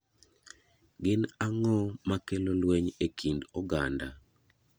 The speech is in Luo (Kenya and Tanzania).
Gin ang'o makelo lweny e kind oganda?